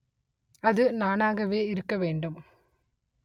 அது நானாகவே இருக்க வேண்டும்